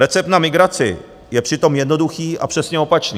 Recept na migraci je přitom jednoduchý a přesně opačný.